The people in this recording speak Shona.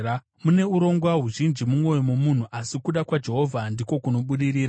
Mune urongwa huzhinji mumwoyo momunhu, asi kuda kwaJehovha ndiko kunobudirira.